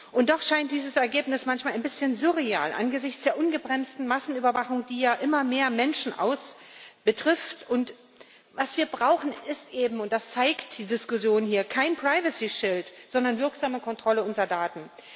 Und doch scheint dieses Ergebnis manchmal ein bisschen surreal angesichts der ungebremsten Massenüberwachung, die ja immer mehr Menschen betrifft, und was wir brauchen, ist eben und das zeigt die Diskussion hier kein privacy shield sondern wirksame Kontrolle unserer Daten.